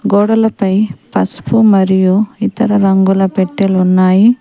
గోడలపై పసుపు మరియు ఇతర రంగుల పెట్టెలు ఉన్నాయి.